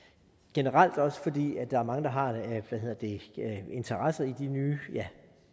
generelt også fordi mange har interesse i de nye